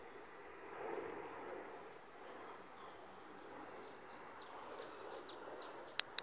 b na o ne o